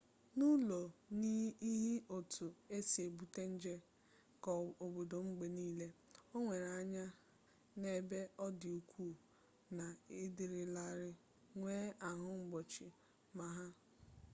n'ụlọ n'ihi otu e si ebute nje keobodo mgbe niile o were anya n'ebe ọ dị ukwuu na ị dịrịlarị nwee ahụ mgbochi maka ha